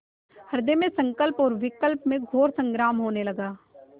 हृदय में संकल्प और विकल्प में घोर संग्राम होने लगा